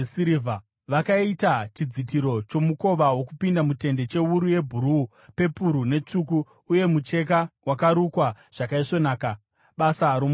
Vakaita chidzitiro chomukova wokupinda mutende chewuru yebhuruu, pepuru netsvuku uye mucheka wakarukwa zvakaisvonaka, basa romuruki;